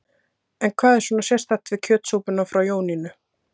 En hvað er svona sérstakt við kjötsúpuna frá Jónínu?